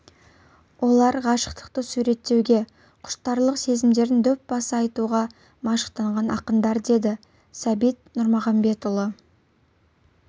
олар ғашықтықты суреттеуге құштарлық сезімдерін дөп баса айтуға машықтанған ақындар деді сәбит нұрмағамбетұлы